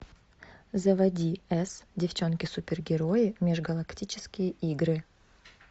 заводи с девчонки супергерои межгалактические игры